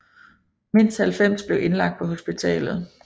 Mindst 90 blev indlagt på hospitalet